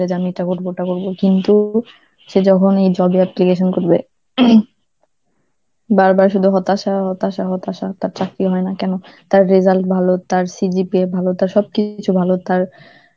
যে আমি এটা করব, ওটা করব কিন্তু সে যখনই job এ application করবে, বারবার শুধু হতাশা, হতাশা, হতাশা, তার চাকরি হয় না কেনো, তার result ভালো, তার CGPA ভালো, তার সবকিছু ভালো, তার